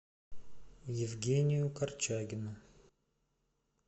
евгению корчагину